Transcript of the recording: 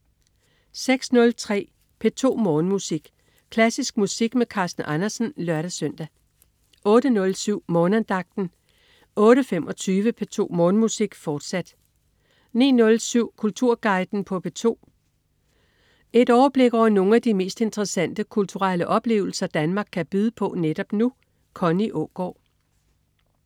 06.03 P2 Morgenmusik. Klassisk musik med Carsten Andersen (lør-søn) 08.07 Morgenandagten 08.25 P2 Morgenmusik, fortsat 09.07 Kulturguiden på P2. Et overblik over nogle af de mest interessante kulturelle oplevelser Danmark kan byde på netop nu. Connie Aagaard